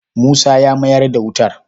Musa ya mayar da wutar.